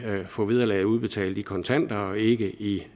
at få vederlaget udbetalt i kontanter og ikke i